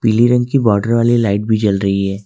ली रंग की बॉर्डर वाली लाइट भी जल रही है।